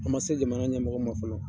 An ma se jamana ɲɛmɔgɔ ma fɔlɔ.